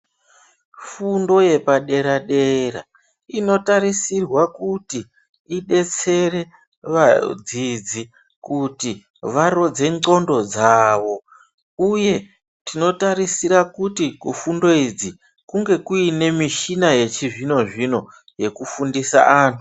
Fundo yepadera dera inotarisirwa kuti idetsere vadzidzi kuti varodzere nxondo dzavo uye tinotarisira kuti kufundo idzi kunge kuine muchina yechizvino zvino yekufundise antu.